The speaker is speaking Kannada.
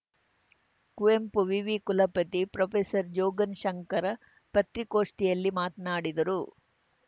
ಕುವೆಂಪು ವಿವಿ ಕುಲಪತಿ ಪ್ರೊಫೆಸರ್ ಜೋಗನ್‌ ಶಂಕರ್‌ ಪತ್ರಿಗೋಷ್ಠಿಯಲ್ಲಿ ಮಾತನಾಡಿದರು